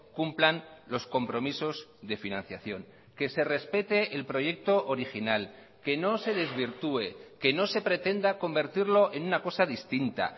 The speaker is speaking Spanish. cumplan los compromisos de financiación que se respete el proyecto original que no se desvirtúe que no se pretenda convertirlo en una cosa distinta